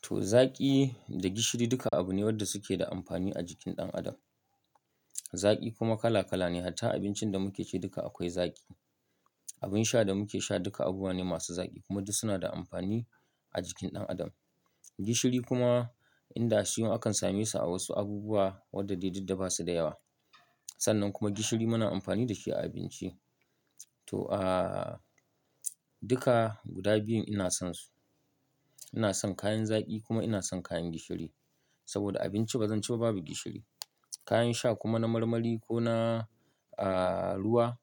To zaƙi da gishiri duka abu ne wanda suke da amfani a jikin ɗan adam. Zaƙi kuma kala kala ne, hatta abincin da muke ci duka akwai zaƙi. Abin sha da muke sha duka abubuwa ne masu zaƙi kuma duk suna da amfani a jikin ɗan adam. Gishiri kuma inda shi yau akan same sa a wasu abubuwa wanda dai daluddaba su da yawa. Sannan kuma gishiri muna amfani da shi a abinci. To aa duka guda biyun ina son su. Ina son kayan zaƙi kuma ina son kayan gishiri saboda abinci bazan ci ba babu gishiri. Kayan sha kuma na marmari ko na aa ruwa